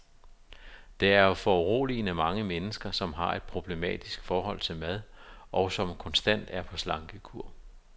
Der er foruroligende mange mennesker, som har et problematisk forhold til mad, og som konstant er på slankekur.